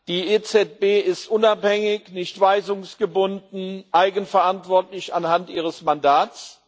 Die EZB ist unabhängig, nicht weisungsgebunden, eigenverantwortlich anhand ihres Mandats.